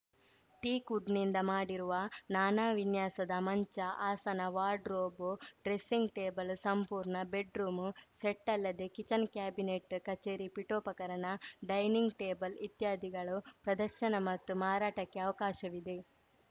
ಟೀಕ್‌ವುಡ್‌ನಿಂದ ಮಾಡಿರುವ ನಾನಾ ವಿನ್ಯಾಸದ ಮಂಚ ಆಸನ ವಾರ್ಡ್‌ರೋಬ್‌ ಡ್ರೆಸಿಂಗ್‌ ಟೇಬಲ್ ಸಂಪೂರ್ಣ ಬೆಡ್‌ರೂಮು ಸೆಟ್‌ ಅಲ್ಲದೆ ಕಿಚನ್‌ ಕ್ಯಾಬಿನೆಟ್‌ ಕಚೇರಿ ಪಿಠೋಪಕರಣ ಡೈನಿಂಗ್‌ ಟೇಬಲ್‌ ಇತ್ಯಾದಿಗಳು ಪ್ರದರ್ಶನ ಮತ್ತು ಮಾರಟಕ್ಕೆ ಅವಕಾಶವಿದೆ